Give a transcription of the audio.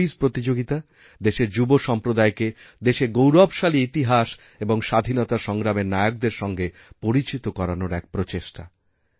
এই কুইজ প্রতিযোগিতা দেশের যুবসম্প্রদায়কে দেশের গৌরবশালী ইতিহাস এবং স্বাধীনতা সংগ্রামের নায়কদের সঞগে পরিচিতকরানোর এক প্রচেষ্টা